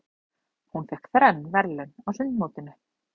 Hún fékk þrenn verðlaun á sundmótinu.